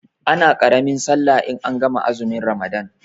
Ana ƙaramin sallah in an gama azumin ramadan